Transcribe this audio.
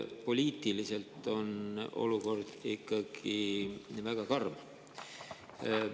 Poliitiliselt on olukord ikkagi väga karm.